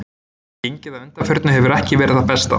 Gengið að undanförnu hefur ekki verið það besta.